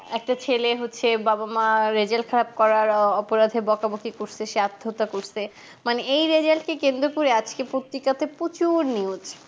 একটা ছেলে হচ্ছে বাবা মার result খারাপ করার অপরাধে বকাবকি করতেছে সে আত্মহত্যা করছে মানে এই result কে কেন্দ্র করে আজকে পত্রিকাতে প্রচুর news